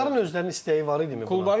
Klubların özlərinin istəyi var idi.